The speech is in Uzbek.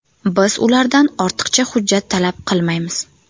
Biz ulardan ortiqcha hujjat talab qilmaymiz.